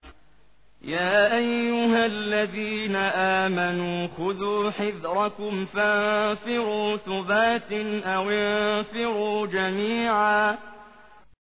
يَا أَيُّهَا الَّذِينَ آمَنُوا خُذُوا حِذْرَكُمْ فَانفِرُوا ثُبَاتٍ أَوِ انفِرُوا جَمِيعًا